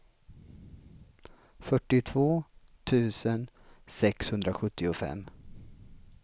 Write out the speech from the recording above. fyrtiotvå tusen sexhundrasjuttiofem